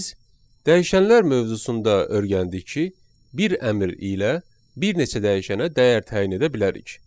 Biz dəyişənlər mövzusunda öyrəndik ki, bir əmr ilə bir neçə dəyişənə dəyər təyin edə bilərik.